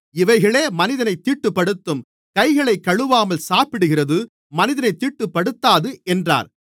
இவைகளே மனிதனைத் தீட்டுப்படுத்தும் கைகளைக் கழுவாமல் சாப்பிடுகிறது மனிதனைத் தீட்டுப்படுத்தாது என்றார்